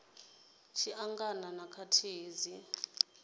tshi angana na khakhathi dzi